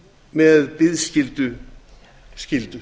með biðskylda skyldu